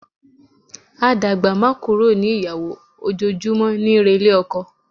A dàgbá má kúrò ní ìyàwó, ojoojúmọ́ níí relé ọkọ.